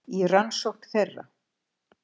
Í rannsókn þeirra